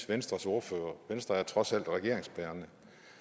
venstres ordfører synes venstre er trods alt regeringsbærende